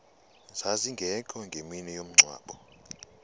zazingekho ngemini yomngcwabo